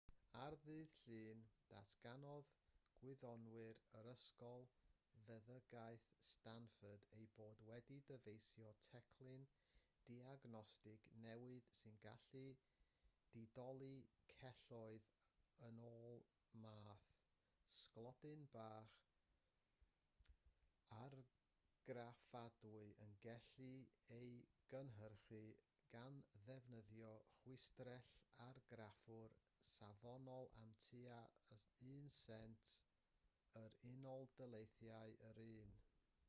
ar ddydd llun datganodd gwyddonwyr o ysgol feddygaeth stanford eu bod wedi dyfeisio teclyn diagnostig newydd sy'n gallu didoli celloedd yn ôl math sglodyn bach argraffadwy y gellir ei gynhyrchu gan ddefnyddio chwistrell-argraffwyr safonol am tua un sent yr u.d. yr un